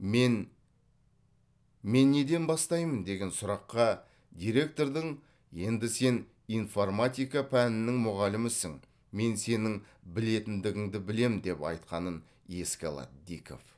мен мен неден бастаймын деген сұраққа директордың енді сен информатика пәнінің мұғалімісің мен сенің білетіндігіңді білемін деп айтқанын еске алады диков